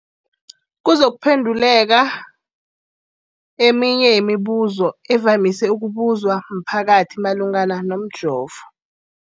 kuzokuphe nduleka eminye yemibu zo evamise ukubuzwa mphakathi malungana nomjovo.